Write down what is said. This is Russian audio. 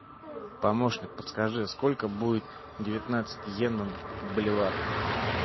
помощник подскажи сколько будет девятнадцать йен в боливарах